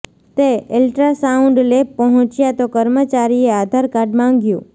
તે ultrasound lab પહોંચ્યા તો કર્મચારીએ આધાર કાર્ડ માંગ્યું